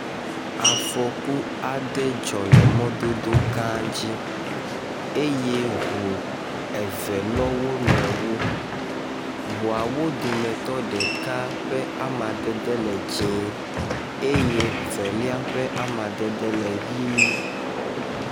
Afɔku aɖe dzɔ le mododo ga dzi, eye eŋua eve lɔ wo nɔeawo, ŋuawo dometɔ ɖeka ƒe amadede le dzie eye veli ƒe amadede le ʋi